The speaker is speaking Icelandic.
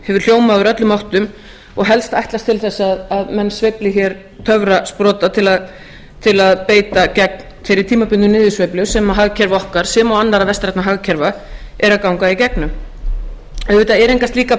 hefur hljómað úr öllum áttum og helst ætlast til þess að menn sveifli hér töfrasprota til að beita gegn þeirri tímabundnu niðursveiflu sem hagkerfi okkar sem og önnur vestræn hagkerfi eru að ganga í gegnum auðvitað eru engar slíkar